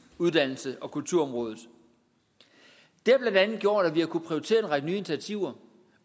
uddannelses og kulturområdet det har blandt andet gjort at vi har kunnet prioritere en række nye initiativer